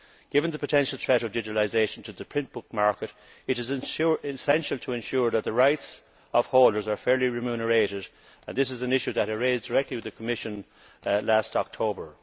Given the potential threat of digitalisation to the print book market, it is essential to ensure that the rights of holders are fairly remunerated, and this is an issue that I raised directly with the Commission last October.